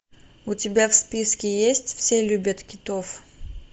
у тебя в списке есть все любят китов